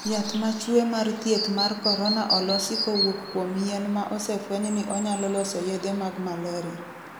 Yath machue mar thieth mar korona olosi kowuok kuom yien ma osefweny ni onyalo loso yedhe mag maleria.